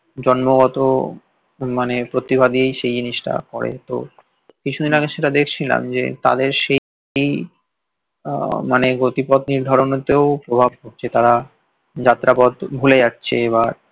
জন্মগত মানে প্রতিভা দিয়েই সেই জিনিসটা করে তো কিছুদিন আগে সেটা দেখছিলাম যে তাদের আহ মানে গতিপথ নির্ধারণ এ তেও প্রভাব পড়ছে তারা যাত্রাপথ ভুলে যাচ্ছে বা